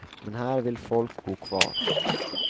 Men här vill folk bo kvar.